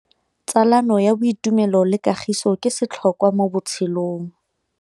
Tsalano ya boitumelo le kagiso ke setlhôkwa mo botshelong.